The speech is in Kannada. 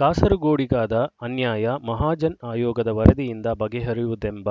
ಕಾಸರಗೋಡಿಗಾದ ಅನ್ಯಾಯ ಮಹಾಜನ್ ಆಯೋಗದ ವರದಿಯಿಂದ ಬಗೆಹರಿಯುವುದೆಂಬ